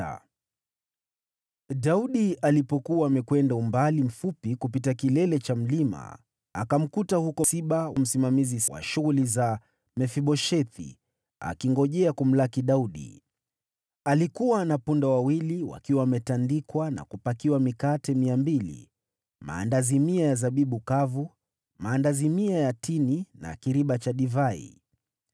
Daudi alipokuwa amekwenda umbali mfupi kupita kilele cha mlima, akamkuta huko Siba, msimamizi wa shughuli za Mefiboshethi, akingojea kumlaki Daudi. Alikuwa na punda wawili wakiwa wametandikwa na kupakiwa mikate mia mbili, maandazi mia ya zabibu kavu, maandazi mia ya tini na kiriba cha divai.